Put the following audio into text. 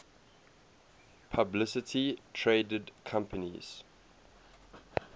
publicly traded companies